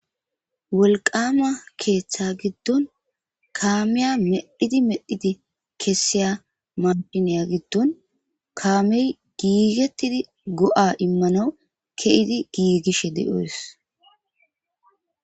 wolqama keeththa giddon kaameya medhidi medhidi kessiya mahhineya giddon kaamey giigettidi go7a immano ke7idi giigishe de7oys.